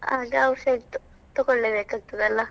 ಆಗ outside ದ್ದು ತಕೊಳ್ಳೇಬೇಕಾಗ್ತದಲ್ಲ .